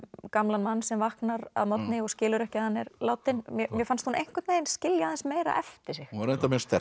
gamlan mann sem vaknar að morgni og skilur ekki að hann er látinn mér fannst hún einhvern veginn skilja aðeins meira eftir sig hún var reyndar mjög sterk